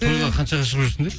қаншаға шығып жүрсіңдер